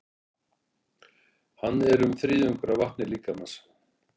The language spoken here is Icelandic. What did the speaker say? Hann er um þriðjungur af vatni líkamans.